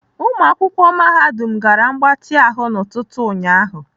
Ụmụakwụkwọ mahadum gara mgbatị ahụ n'ụtụtụ ụnyaahụ.